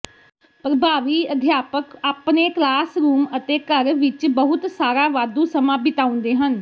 ਪ੍ਰਭਾਵੀ ਅਧਿਆਪਕ ਆਪਣੇ ਕਲਾਸਰੂਮ ਅਤੇ ਘਰ ਵਿਚ ਬਹੁਤ ਸਾਰਾ ਵਾਧੂ ਸਮਾਂ ਬਿਤਾਉਂਦੇ ਹਨ